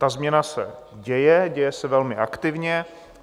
Ta změna se děje, děje se velmi aktivně.